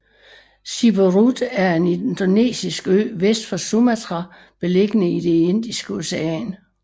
Siberut er en indonesisk ø vest for Sumatra beliggende i det Indiske Ocean